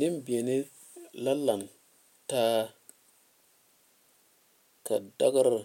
Neŋ beɛ la lantaa ka daare